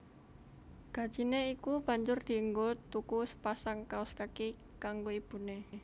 Gajine iku banjur dienggo tuku sepasang kaos kaki kanggo ibune